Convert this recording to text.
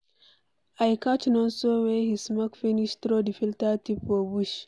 I catch Nonso where he smoke finish throw the filter tip for bush.